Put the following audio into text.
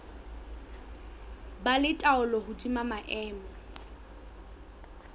ba le taolo hodima maemo